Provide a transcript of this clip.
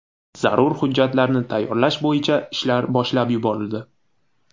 Zarur hujjatlarni tayyorlash bo‘yicha ishlar boshlab yuborildi.